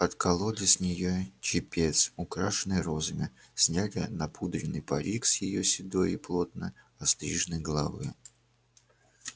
откололи с нее чепец украшенный розами сняли напудренный парик с её седой и плотно остриженной головы